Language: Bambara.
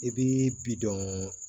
I bi bi dɔn